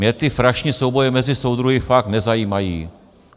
Mě ty frašné souboje mezi soudruhy fakt nezajímají.